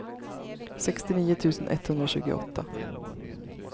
sextionio tusen etthundratjugoåtta